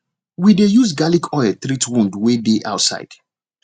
we dey use garlic oil treat wound wey dey outside